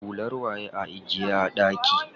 Hular waye a ajiye a ɗaki?